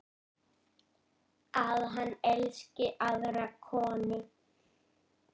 Að hann elski aðra konu.